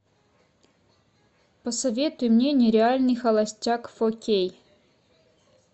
посоветуй мне нереальный холостяк фор кей